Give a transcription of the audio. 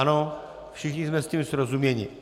Ano, všichni jsme s tím srozuměni?